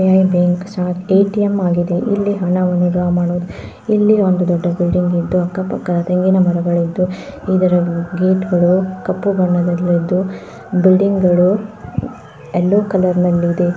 ಇಲ್ಲಿ ಬ್ಯಾಂಕ್ ಸಹಾ ಎಟಿಎಂ ಆಗಿದೆ. ಇಲ್ಲಿ ಹಣವನ್ನು ಡ್ರಾ ಮಾಡೋದ್. ಇಲ್ಲಿ ಒಂದು ದೊಡ್ಡ ಬಿಲ್ಡಿಂಗ್ ಇದ್ದು ಅಕ್ಕ ಪಕ್ಕ ಬೇವಿನ ಮರಗಳಿದ್ದು ಇದರ ಗೇಟ್ ಗಳು ಕಪ್ಪು ಬಣ್ಣದಲ್ಲಿದ್ದು ಬಿಲ್ಡಿಂಗ್ ಗಳು ಯಲ್ಲೋ ಕಲರ್ ನಲ್ಲಿದೆ.